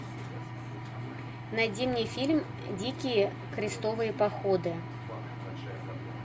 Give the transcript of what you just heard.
найди мне фильм дикие крестовые походы